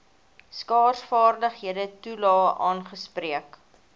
skaarsvaardighede toelae aangespreek